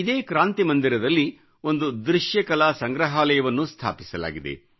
ಇದೇ ಕ್ರಾಂತಿ ಮಂದಿರದಲ್ಲಿ ಒಂದು ದೃಶ್ಯಕಲಾ ಸಂಗ್ರಹಾಲಯವನ್ನೂ ಸ್ಥಾಪಿಸಲಾಗಿದೆ